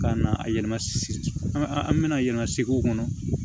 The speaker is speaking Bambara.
Ka na a yɛlɛma sigi an bɛna yɛlɛma segu kɔnɔ